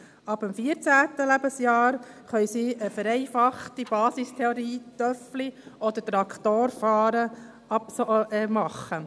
Ab dem 14. Lebensjahr können sie eine vereinfachte Basistheorie Töffli- oder Traktorfahren machen.